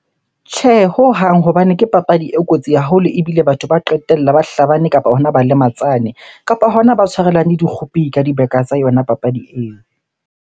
Tjhe, hohang hobane ke papadi e kotsi haholo ebile batho ba qetella ba hlabane kapa hona ba lematsane. Kapa hona ba tshwarelane dikgopi ka dibeka tsa yona papadi eo.